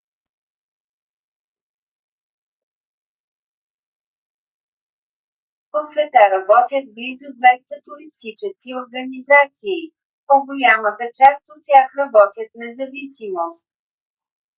по света работят близо 200 туристически организации. по-голямата част от тях работят независимо